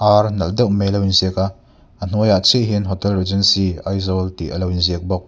ar nalh deuh mai alo in ziak a a hnuai ah chiah hian hotel regency aizawl tih alo in ziak bawk.